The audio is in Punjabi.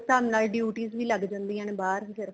ਹਿਸਾਬ ਨਾਲ duties ਵੀ ਲੱਗ ਜਾਂਦੀਆਂ ਨੇ ਬਾਹਰ ਫ਼ੇਰ